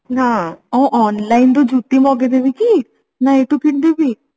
ଆଉ online ରୁ ଯୁତି ମଗେଇ ଦେବି କି ନା ଏଇଠୁ କିଣିଦେବି